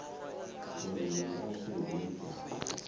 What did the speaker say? uri ndi ngafhi hune dza